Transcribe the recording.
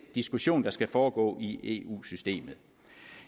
diskussion der skal foregå i eu systemet